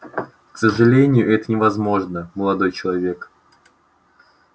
к сожалению это невозможно молодой человек